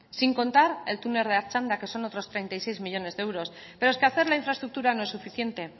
sin contar el túnel de artxanda que son otros treinta y seis millónes de euros pero es que hacer la infraestructura no es suficiente